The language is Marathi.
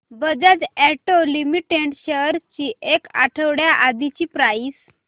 बजाज ऑटो लिमिटेड शेअर्स ची एक आठवड्या आधीची प्राइस